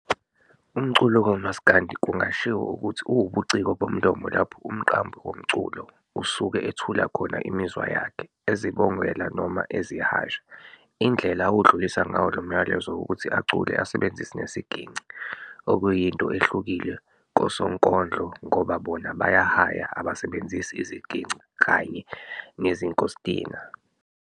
UMculo kamasikandi kungashiwo ukuthi uwubuciko bomlomo lapho umqambi womculo usuke ethula khona imizwa yakhe, ezibongela noma ezihasha. Indlela awudlulisa ngawo lomyalezo ukuthi acule asebenzise nesigingci, okuyinto ehlukile kosonkondlo ngoba bona bayahaya abasebenzisi iziginci kanye nezinkostina.